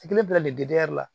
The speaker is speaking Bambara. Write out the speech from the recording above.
bila nin la